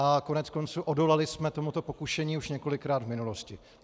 A koneckonců, odolali jsme tomuto pokušení už několikrát v minulosti.